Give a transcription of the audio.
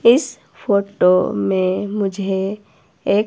इस फोटो में मुझे एक